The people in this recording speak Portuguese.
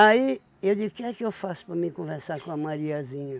Aí eu disse, o que é que eu faço para mim conversar com a Mariazinha?